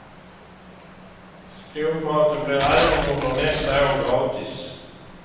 Skolmaten blir även under nästa år gratis.